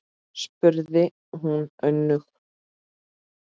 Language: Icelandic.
spurði hún önug.